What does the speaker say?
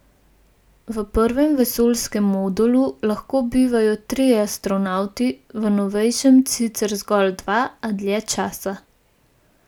V prvem vesoljskem modulu lahko bivajo trije astronavti, v novejšem sicer zgolj dva, a dlje časa.